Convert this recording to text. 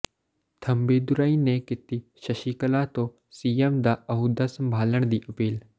ਥੰਬੀਦੁਰਈ ਨੇ ਕੀਤੀ ਸ਼ਸ਼ੀਕਲਾ ਤੋਂ ਸੀਐੱਮ ਦਾ ਅਹੁਦਾ ਸੰਭਾਲਣ ਦੀ ਅਪੀਲ